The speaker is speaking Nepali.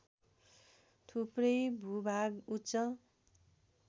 थुप्रै भूभाग उच्च